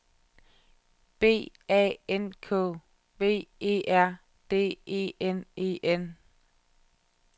B A N K V E R D E N E N